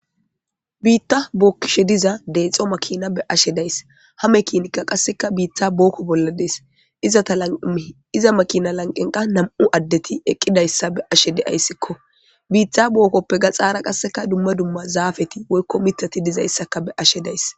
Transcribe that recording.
Biitta bookkishe diza deexxo makina be ashe days hame kiinikka qasseka biittha bookko bolla dees izata laui iza makina lanqenqa nam'u addeti eqqidayssa be ashe deayssikko biittha bookkoppe gaxaara qasseka dumma dumma zaafeti woykko mitati dizayssaka be ashe days.